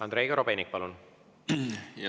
Andrei Korobeinik, palun!